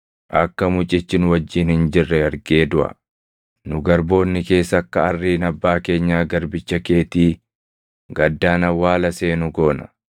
akka mucichi nu wajjin hin jirre argee duʼa. Nu garboonni kees akka arriin abbaa keenya garbicha keetii gaddaan awwaala seenu goona.